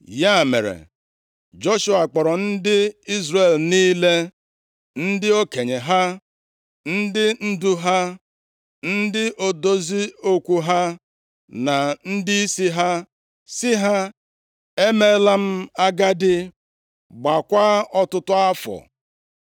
Ya mere, Joshua kpọrọ ndị Izrel niile, ndị okenye ha, ndị ndu ha, ndị odozi okwu ha na ndịisi ha, sị ha, “Emeela m agadi gbaakwa ọtụtụ afọ.